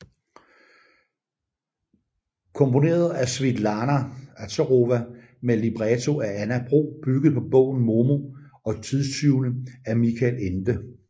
Komponeret af Svitlana Azarova med libretto af Anna Bro bygget på bogen Momo og tidstyvene af Michael Ende